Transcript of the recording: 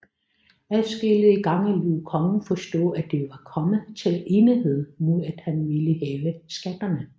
Adskillige gange lod kongen forstå at de var kommet til enighed mod at han ville hæve skatterne